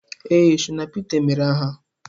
Ee, Shina Pita emeere aha